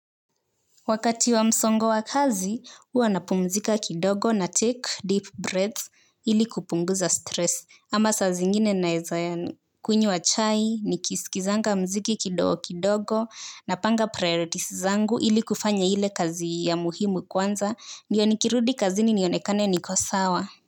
Wakati wa msongo wa kazi, huwa napumzika kidogo na take deep breaths ili kupunguza stress. Ama saa zingine naeza kunywa chai, nikisikizanga mziki kidogo kidogo, napanga priorities zangu ili kufanya ile kazi ya muhimu kwanza, ndiyo nikirudi kazini nionekane niko sawa.